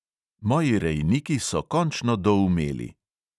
Moji rejniki so končno doumeli!